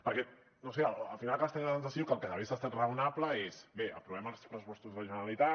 perquè no sé al final acabes tenint la sensació que el que hagués estat raonable és bé aprovem els pressupostos de la generalitat